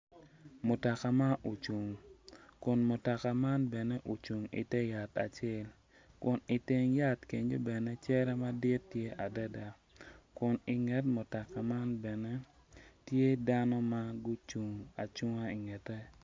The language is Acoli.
Mutoka ma ocung kun mutoka man bene ocung ite yat acel kun iteng yat kenyo bene cere madit tye adada kun inget mutoka man bene tye dano ma gucung acunga ingete.